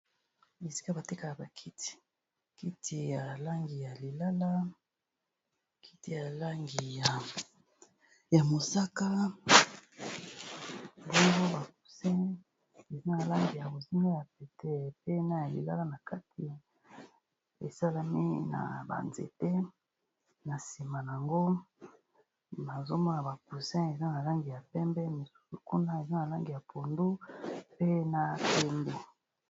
bisika batekaka bakiti kiti ya mosaka longo bacusi eza na langi ya mozima ya pete pena ya lilala na kati esalami na banzete na nsima nango mazomo ya bacusi eza na langi ya pembe mosusu kuna eza na langi ya pondo pe na pendo